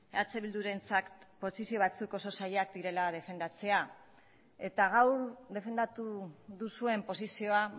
eh bildurentzat posizio batzuk oso zailak direla defendatzea eta gaur defendatu duzuen posizioa